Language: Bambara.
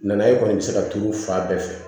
Nana ye e kɔni bɛ se ka turu fa bɛɛ fɛ